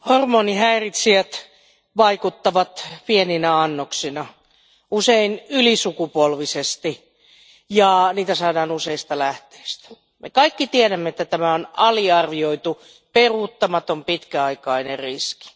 Arvoisa puhemies, hormonihäiritsijät vaikuttavat pieninä annoksina usein ylisukupolvisesti ja niitä saadaan useista lähteistä. Me kaikki tiedämme, että tämä on aliarvioitu, peruuttamaton ja pitkäaikainen riski.